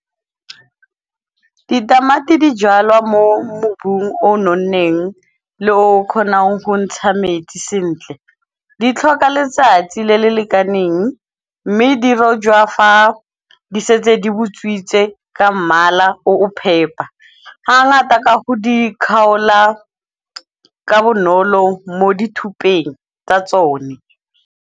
Ditamati di jalwa mo mobung o nonneng le o kgonang ho ntsha metsi sentle. Di tlhoka letsatsi le le lekaneng mme dirojwa fa di setse di botswitse ka mmala o o phepa, ha ngata ka ho di kgaola ka bonolo mo dithupeng tsa tsone.